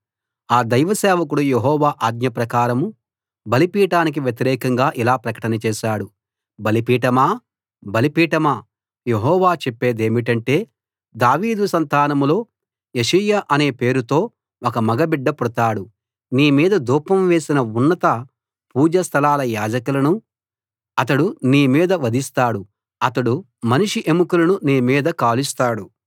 ఆ దైవ సేవకుడు యెహోవా ఆజ్ఞ ప్రకారం బలిపీఠానికి వ్యతిరేకంగా ఇలా ప్రకటన చేశాడు బలిపీఠమా బలిపీఠమా యెహోవా చెప్పేదేమిటంటే దావీదు సంతానంలో యోషీయా అనే పేరుతో ఒక మగ బిడ్డ పుడతాడు నీ మీద ధూపం వేసిన ఉన్నత పూజా స్థలాల యాజకులను అతడు నీ మీద వధిస్తాడు అతడు మనిషి ఎముకలను నీ మీద కాలుస్తాడు